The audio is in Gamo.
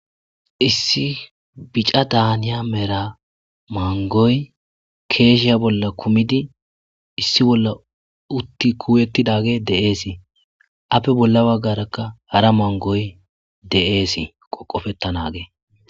Issi bicada haniya mangoy keche bola kumidi issi bola uti kuyeti utidagey de'es ape bola bagaraka hara mangoy de'es qoqefetanagey